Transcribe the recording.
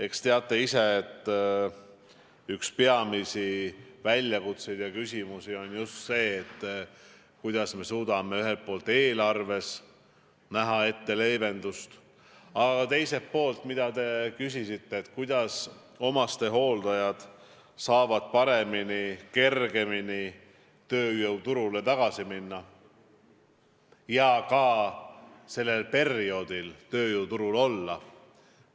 Eks teate ise, et üks peamisi väljakutseid ja küsimusi on just see, kuidas me suudame ühelt poolt eelarves näha ette leevendust, aga teiselt poolt, mida te küsisite, et kuidas omastehooldajad saavad paremini, kergemini tööjõuturule tagasi minna ja ka sellel perioodil tööjõuturul olla.